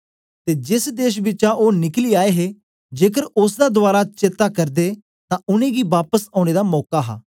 ते जेस देश बिचा ओ निकली आए हे जेकर ओसदा दवारा चेत्ता करदे तां उनेंगी बापस औने दा मौका हा